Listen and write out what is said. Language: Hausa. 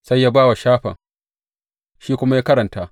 Sai ya ba wa Shafan, shi kuma ya karanta.